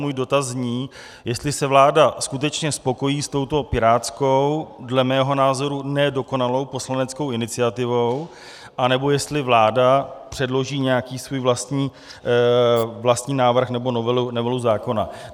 Můj dotaz zní, jestli se vláda skutečně spokojí s touto pirátskou, dle mého názoru ne dokonalou, poslaneckou iniciativou, anebo jestli vláda předloží nějaký svůj vlastní návrh nebo novelu zákona.